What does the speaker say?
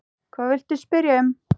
Hvað viltu spyrja um?